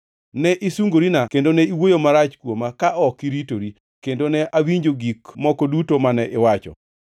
Ne isungorina kendo ne iwuoyo marach kuoma ka ok iritori, kendo ne awinjo gik moko duto mane iwacho.